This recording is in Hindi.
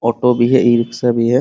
ऑटो भी है ई रिक्शा भी है।